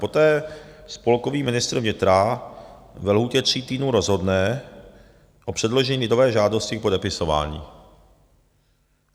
Poté spolkový ministr vnitra ve lhůtě tří týdnů rozhodne o předložení lidové žádosti k podepisování.